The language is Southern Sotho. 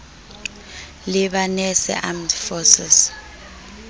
lebanese armed forces